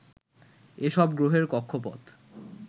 এসব গ্রহের কক্ষপথ